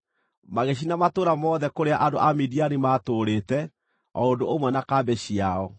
Magĩcina matũũra mothe kũrĩa andũ a Midiani maatũũrĩte, o ũndũ ũmwe na kambĩ ciao.